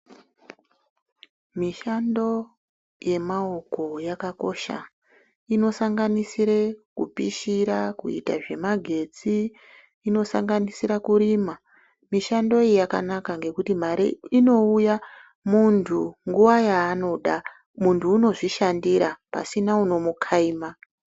Mishando yemaoko yakakosha inosamganisire kupishira kuita zvemagetsi inosanganisira kurima mishando iyi yakanaka nekuti mari inouya muntu nguva yaanoda muntu unozvishandira pasina unomukaima.